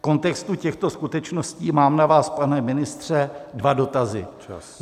V kontextu těchto skutečností mám na vás, pane ministře, dva dotazy.